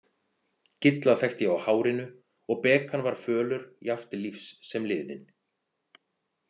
Gilla þekkti ég á hárinu og Bekan var fölur jafnt lífs sem liðinn.